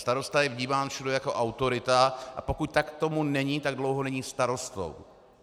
Starosta je vnímán všude jako autorita, a pokud tomu tak není, tak dlouho není starostou.